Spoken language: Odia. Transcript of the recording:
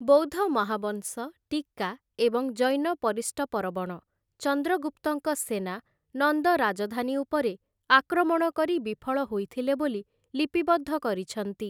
ବୌଦ୍ଧ ମହାବଂଶ ଟୀକା ଏବଂ ଜୈନ ପରିଷ୍ଟପରବଣ, ଚନ୍ଦ୍ରଗୁପ୍ତଙ୍କ ସେନା ନନ୍ଦ ରାଜଧାନୀ ଉପରେ ଆକ୍ରମଣ କରି ବିଫଳ ହୋଇଥିଲେ ବୋଲି ଲିପିବଦ୍ଧ କରିଛନ୍ତି ।